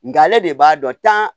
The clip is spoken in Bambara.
Nga ale de b'a dɔn tan